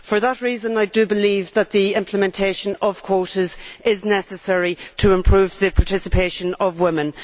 For that reason I believe that the implementation of quotas is necessary to improve the participation of women.